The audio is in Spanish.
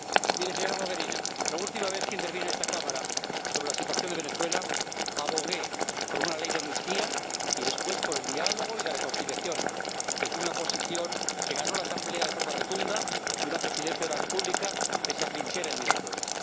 Mire, señora Mogherini, la última vez que intervine en esta Cámara sobre la situación de Venezuela abogué por una ley de amnistía y, después, por el diálogo y la reconciliación entre una oposición que ganó la Asamblea de forma rotunda y una Presidencia de la República que se atrinchera en Miraflores.